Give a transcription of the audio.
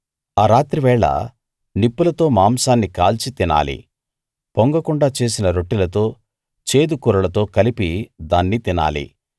ఆ రాత్రివేళ నిప్పులతో మాంసాన్ని కాల్చి తినాలి పొంగకుండా చేసిన రొట్టెలతో చేదు కూరలతో కలిపి దాన్ని తినాలి